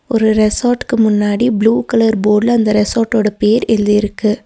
ஒரு ரெசாட்க்கு முன்னாடி ப்ளூ கலர் போட்ல அந்த ரெசாட் ஓட பேர் எழுதிருக்கு.